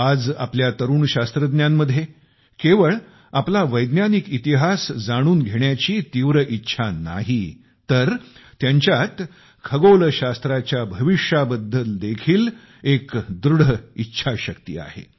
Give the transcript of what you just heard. आज आपल्या तरुण शास्त्रज्ञांमध्ये केवळ त्यांचा वैज्ञानिक इतिहास जाणून घेण्याची तीव्र इच्छा नाही तर त्यांच्यात खगोलशास्त्राच्या भविष्याबद्दल देखील एक दृढ इच्छाशक्ती आहे